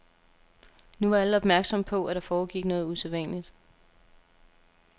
Nu var alle opmærksomme på, at der foregik noget usædvanligt.